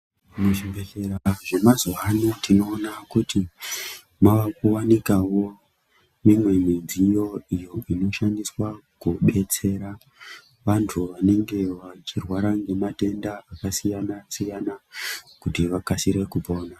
Mu zvibhehlera zve mazuva ano tinoona kuti mava kuwanikavo mimwe midziyo iyo inoshandiswa kubetsera vantu vanenge vachi rwara ne matenda aka siyana siyana kuti vakasire kupona.